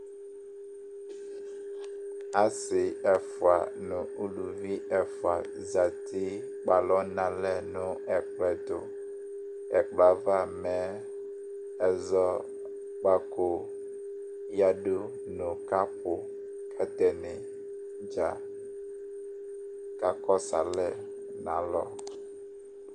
Asi ɛfʋa nʋ ʋlʋvi ɛfʋa zɛti kpe alɔ nʋ alɛ nʋ ɛkʋɛtu Ɛkplɔ yɛ ava mɛ ɛzɔkpako ɔyadu nʋ kapu Atani dza kakɔsu alɛ nʋ alɔ